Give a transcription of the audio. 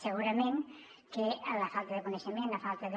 segurament que la falta de coneixement la falta de